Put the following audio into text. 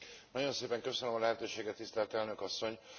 Nagyon szépen köszönöm a lehetőséget, tisztelt Elnök Asszony!